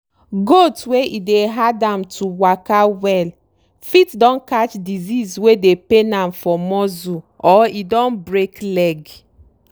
goat wey e dey hard am to waka well fit don catch disease wey dey pain am for muscle or e don break leg.